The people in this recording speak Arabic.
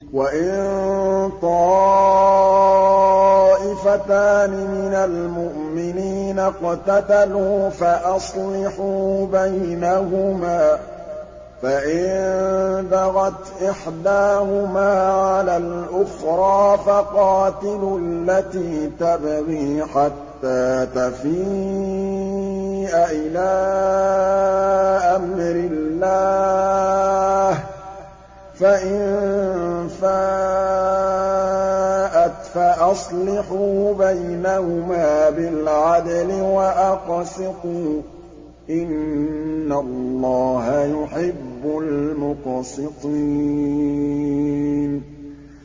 وَإِن طَائِفَتَانِ مِنَ الْمُؤْمِنِينَ اقْتَتَلُوا فَأَصْلِحُوا بَيْنَهُمَا ۖ فَإِن بَغَتْ إِحْدَاهُمَا عَلَى الْأُخْرَىٰ فَقَاتِلُوا الَّتِي تَبْغِي حَتَّىٰ تَفِيءَ إِلَىٰ أَمْرِ اللَّهِ ۚ فَإِن فَاءَتْ فَأَصْلِحُوا بَيْنَهُمَا بِالْعَدْلِ وَأَقْسِطُوا ۖ إِنَّ اللَّهَ يُحِبُّ الْمُقْسِطِينَ